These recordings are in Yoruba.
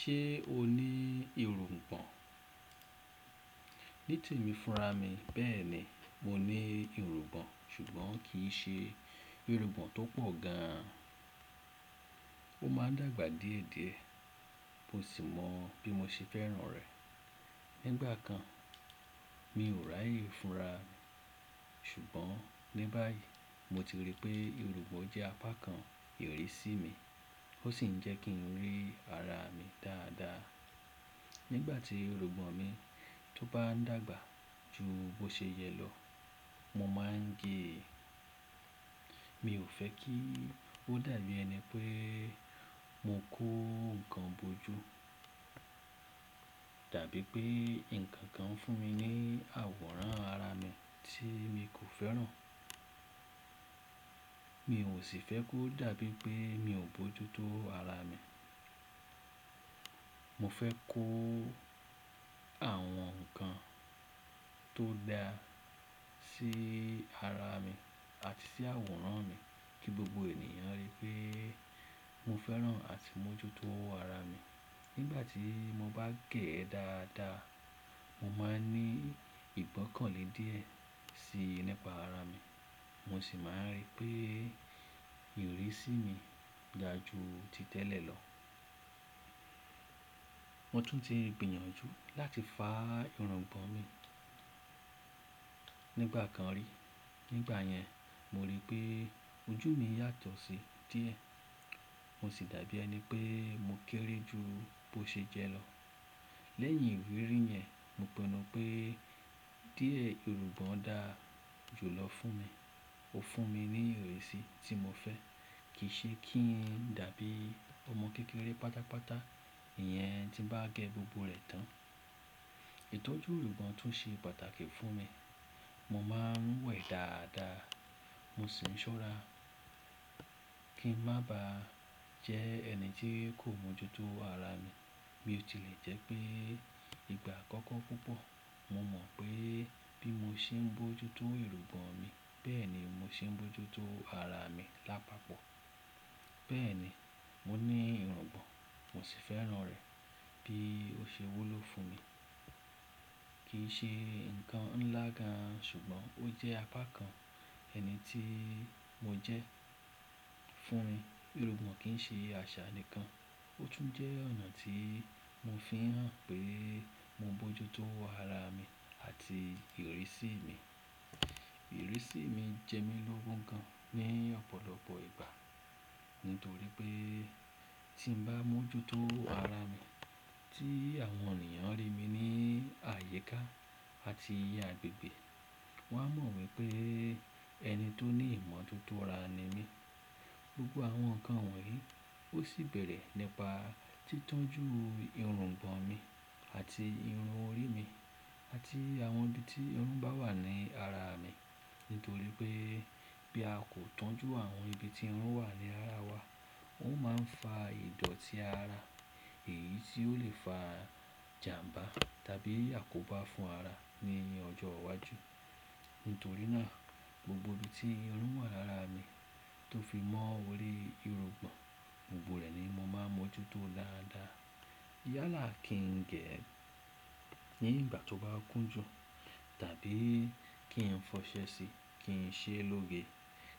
Ṣé o ní irùngbọ̀n? Níì tẹ̀mi fúnra mi, bẹ́ẹ̀ni, mo ní irùngbọ̀n, ṣùgbọ́n kì í ṣe irùngbọ̀n tó pọ̀ gan an. Ó máa ń dàgbà díẹ̀díẹ̀, mo sì mọ̀ bí mo ṣe fẹ́ràn rẹ̀. Nígbà kan, mi ò ràyé fúnra mi, ṣùgbọ́n ní báyìí mo ti rí pé irùngbọ̀n jẹ́ apá kan ìrísí mi, ó sì ń jẹ́ kí n rí ara mi dáadáa. Nígbà tí irùngbọ̀n mi tó bá ń dàgbà ju bó ṣe yẹ lọ, mo máa ń gé e. Mi ò fẹ́ kí ó dàbí ẹni pé mo kó nǹkan bojú, tàbí pé ǹkan kan fún mi ní àwòrán ara mi tí mi kò fẹ́ràn. Mi ò sì fẹ́ kó dàbí pé mi ò bójútó ara mi. Mo fẹ́ kó àwọn nǹkan tó da sí ara mi àti sí àwòrán mi kí gbogbo ènìyàn rí pé mo fẹ́ràn àti mọ́jútó ara mi. Nígbà tí mo bá gẹ̀ ẹ́ dáadáa, mo máa ń ní ìgbọ́kànlé díẹ̀ síi nípa ara mi, mo sì máa ń rí pé ìrísí mi dáa ju ti tẹ́lẹ̀ lọ. Mo tún ti gbìyànjú láti fá irùngbọ̀n mi nígbà kan rí. Nígbà yẹn, mo rí pé ojú mi yàtọ̀ síi díẹ̀, mo sì dàbí ẹni pé mo kéré ju bó ṣe jẹ́ lọ. Lẹ́yìn ìrírí yẹn, mo pinú pé díẹ̀ irùngbọ̀n dáa ju lọ fún mi. Ó fún mi ní ìrísí tí mo fẹ́, kì í ṣe kí n dàbí ọmọ kékeré pátápátá ìyẹn tí ń bá gẹ gbogbo rẹ̀ tán. Ìtọ́jú irùngbọ̀n tún ṣe pàtàkì fún mi. Mo máa ń wẹ̀ dáadáa, mo sì ń ṣọ́ra kí n má ba jẹ́ ẹni tí kò mọ́jútó ara mi. Bí ó tilẹ̀ jẹ́ pé ìgbà àkọ́kọ́ púpọ̀, mo mọ̀ pé bí mo ṣe ń bójútó irùngbọ̀n mi, bẹ́ẹ̀ ni mo ṣe ń bójútó ara mi lápapọ̀. Bẹ́ẹ̀ ni, mo ní irùngbọ̀n mo sì fẹ́ràn rẹ̀ bí ó ṣe wó lọ fún mi. Kì í ṣe nǹkan ńlá gan an, ṣùgbọ́n ó jẹ́ apá kan ẹni tí mo jẹ́ fún mi. Irùngbọ̀n kì ń ṣe àṣà nìkan, ó tún jẹ́ ọ̀nà tí mo fi hàn pé mo bójútó ara mi àti ìrísí mi. Ìrísí mi jẹ́ mi lógun kan ní ọ̀pọ̀lọpọ̀ ìgbà. Nítorí pé tí mo bá mọ́jútó ara mi, tí àwọn ènìyàn rí mi ní àyíká àti ìyàgbẹ́gbẹ́, wọ́n á mọ̀ wípé ẹni tó ní ìmọ̀tótó ara ni mí. Gbogbo àwọn nǹkan wọ̀nyí ó sì bẹ̀rẹ̀ nípa títọ́jú irùngbọ̀n mi àti irun orí mi àti àwọn ibi tí irun bá wà ní ara mi. Nítorí pé bí a kò tọ́jú àwọn ibi tí irun wà ní ara wa, ó máa ń fa ìdọ̀tí ara, èyí tí ó lè fa ìjàmbá tàbí àkóbá fún ara ní ọjọ́ iwájú. Nítorí náà, gbogbo ibi tí irun wà lára mi tó fi mọ́ orí irùngbọ̀n, gbogbo rẹ̀ ni mo máa mọ́jútó dáadáa. Yálà kí n gẹ̀ ẹ́ nígbà tó bá kún ju, tàbí kí n fọṣẹ́ẹ́ síi, kí n ṣe lóge,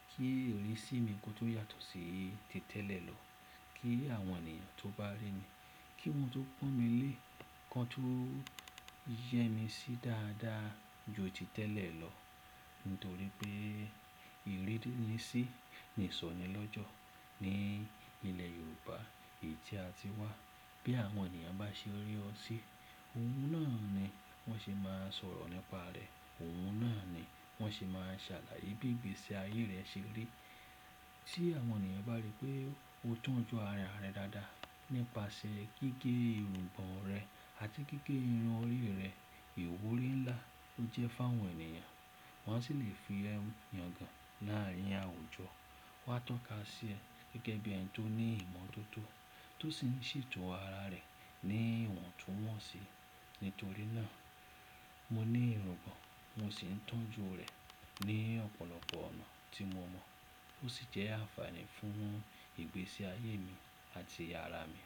kí ìrísí mi kó tó yàtọ̀ sí ti tẹ́lẹ̀ lọ. Kí àwọn ènìyàn tó bá rí mi, kí wọ́n tó pọ́n mi lé, kó tun yẹ́ mi sí dáadáa ju ti tẹ́lẹ̀ lọ. Nítorí pé ìrírí ni sí ni ìsọ̀nyí lọ́jọ́ ní ilẹ̀ Yorùbá yìí tí a ti wá. Bí àwọn ènìyàn bá ṣe rí ọ síi, ohun náà ni wọ́n ṣe máa sọ̀rọ̀ nípa rẹ, ohun náà ni wọ́n ṣe máa ṣàlàyé bí ìgbésí ayé rẹ ṣe rí. Sí àwọn ènìyàn bá rí pé o tọ́jú ara rẹ dáadáa nípasẹ̀ gígẹ́ irùngbọ̀n rẹ àti gígẹ́ irun orí rẹ, ìwúrí ńlá ó jẹ́ fáwọn ènìyàn. Wọ́n sì lè fi ẹ́ yan gan láàárín àwùjọ, wá tọ́ka sí ẹ gẹ́gẹ́ bí ẹni tó ní ìmọ̀tótó, tó sì ń ṣètò ara rẹ̀ ní ìwọ̀n tó mọ̀ síi. Nítorí náà, mo ní irùngbọ̀n mo sì ń tọ́jú rẹ̀ ní ọ̀pọ̀lọpọ̀ ọ̀nà tí mo mọ̀ ó sì jẹ́ àfààní fún ìgbésí ayé mi àti ara mi.